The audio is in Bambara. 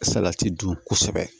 Salati dun kosɛbɛ